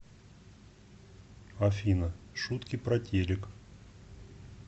афина шутки про телек